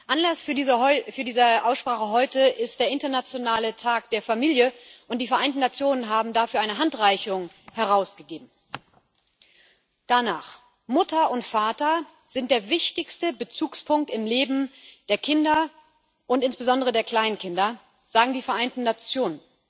Anlass für diese Aussprache heute ist der internationale Tag der Familie, und die Vereinten Nationen haben dafür eine Handreichung herausgegeben. Danach sind Mutter und Vater der wichtigste Bezugspunkt im Leben der Kinder und insbesondere der Kleinkinder, sagen die Vereinten Nationen.